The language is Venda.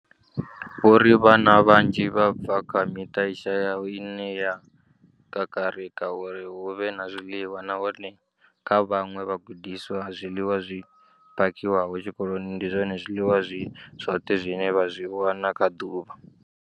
Vho ri vhana vhanzhi vha bva kha miṱa i shayaho ine ya kakarika uri hu vhe na zwiḽiwa, nahone kha vhaṅwe vhagudiswa, zwiḽiwa zwi phakhiwaho tshikoloni ndi zwone zwiḽiwa zwi zwoṱhe zwine vha zwi wana kha ḓuvha.